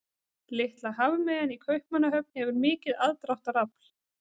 Litla hafmeyjan í Kaupmannahöfn hefur mikið aðdráttarafl.